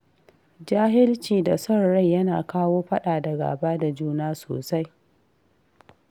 Jahilci da son rai yana kawo faɗa da gaba da juna sosai.